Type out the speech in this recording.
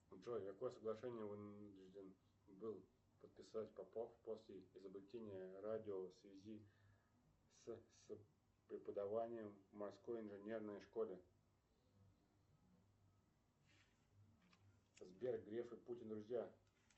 джой какое соглашение вынужден был подписать попов после изобретения радио в связи с преподаванием в морской инженерной школе сбер греф и путин друзья